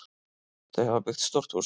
Þau hafa byggt stórt hús.